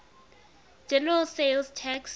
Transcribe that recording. general sales tax